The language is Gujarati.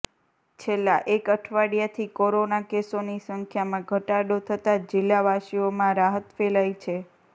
છેલ્લા એક અઠવાડિયાથી કોરોના કેસોની સંખ્યામાં ધટાડો થતા જિલ્લાવાસીઓમાં રાહત ફ્ેલાઈ છે